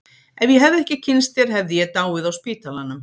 Ef ég hefði ekki kynnst þér hefði ég dáið á spítalanum.